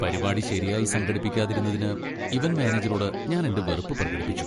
പരിപാടി ശരിയായി സംഘടിപ്പിക്കാതിരുന്നതിന് ഇവന്റ് മാനേജറോട് ഞാൻ എന്റെ വെറുപ്പ് പ്രകടിപ്പിച്ചു.